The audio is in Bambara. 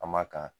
An ma kan